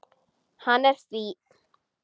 Hann er fínn.